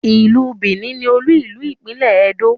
ilú Benin ní olú ilu ìpínlè Edo